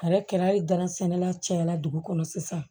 Kɛra hali gansɛnɛla cayala dugu kɔnɔ sisan